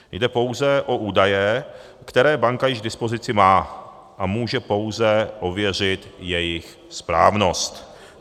Jde pouze o údaje, které banka již k dispozici má, a může pouze ověřit jejich správnost.